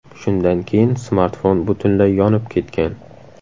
Shundan keyin smartfon butunlay yonib ketgan.